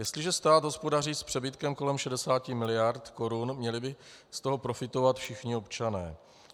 Jestliže stát hospodaří s přebytkem kolem 60 miliard korun, měli by z toho profitovat všichni občané.